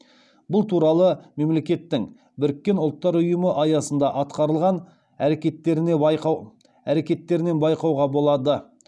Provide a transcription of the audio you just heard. бұл туралы мемлекеттің біріккен ұлттар ұйымы аясында атқарылған әрекеттерінен байқауға болады